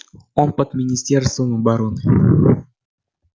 он под министерством обороны